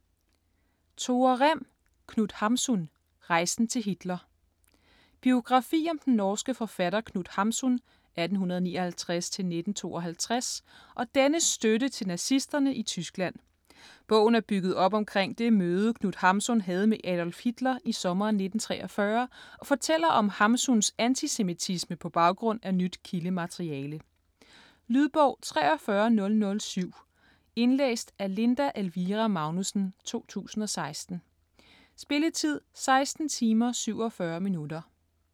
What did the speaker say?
Rem, Tore: Knut Hamsun: rejsen til Hitler Biografi om den norske forfatter Knut Hamsun (1859-1952) og dennes støtte til nazisterne i Tyskland. Bogen er bygget op omkring det møde, Knut Hamsun havde med Adolf Hitler i sommeren 1943, og fortæller om Hamsuns antisemitisme på baggrund af nyt kildemateriale. Lydbog 43007 Indlæst af Linda Elvira Magnussen, 2016. Spilletid: 16 timer, 47 minutter.